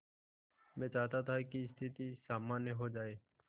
मैं चाहता था कि स्थिति सामान्य हो जाए